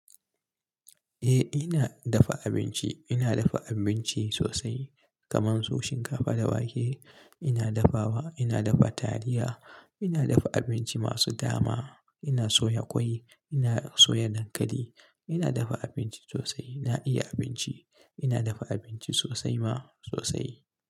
Eh ina dafa abinci. Ina dafa abinci sosai kamar su shinkafa da wake. Ina dafawa, ina dafa taliya, ina dafa abinci masu dama, ina soya ƙwai, ina soya dankali. Ina dafa abinci sosai. Na iya abinci. Ina dafa abinci sosai ma sosai.